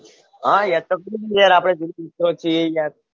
હા યાદ તો કરું જ ને યાર આપણે જીગરી દોસ્તો છીએ યાર